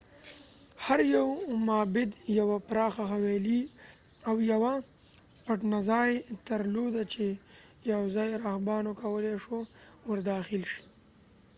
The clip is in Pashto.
هر یو معبد یوه پراخه حویلۍ او یوه پټنځای درلوده چې یوازې راهبانو کولې شو ورداخل شي